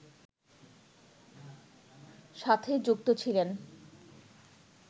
সাথে যুক্ত ছিলেন